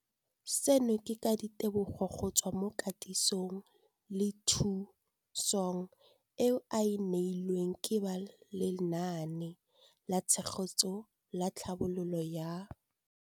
Seno ke ka ditebogo go tswa mo katisong le thu song eo a e neilweng ke ba Lenaane la Tshegetso le Tlhabololo ya